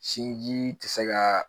Sinji tɛ se ka